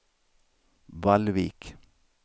Vallvik